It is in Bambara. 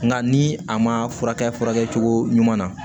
Nka ni a ma furakɛ cogo ɲuman na